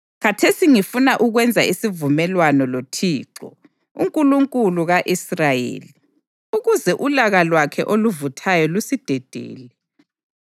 Khathesi ngifuna ukwenza isivumelwano loThixo, uNkulunkulu ka-Israyeli, ukuze ulaka lwakhe oluvuthayo lusidedele.